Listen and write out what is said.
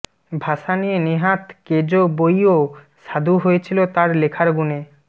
ভাষা নিয়ে নেহাত কেজো বইও স্বাদু হয়েছিল তাঁর লেখার গুণে